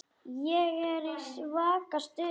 Ég er í svaka stuði.